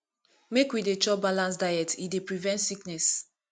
make we dey chop balanced diet e dey prevent sickness